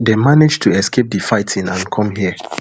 dem manage to escape di fighting and come hia